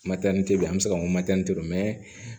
bɛ yen an bɛ se k'a fɔ